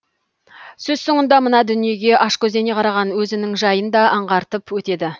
сөз соңында мына дүниеге ашкөздене қараған өзінің жайын да аңғартып өтеді